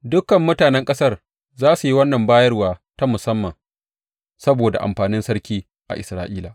Dukan mutanen ƙasar za su yi wannan bayarwa ta musamman saboda amfanin sarki a Isra’ila.